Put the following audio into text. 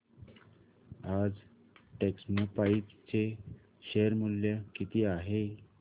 आज टेक्स्मोपाइप्स चे शेअर मूल्य किती आहे